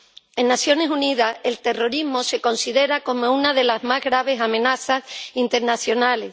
En las Naciones Unidas el terrorismo se considera como una de las más graves amenazas internacionales.